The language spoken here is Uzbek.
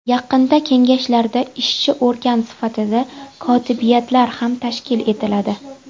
Yaqinda kengashlarda ishchi organ sifatida kotibiyatlar ham tashkil etiladi.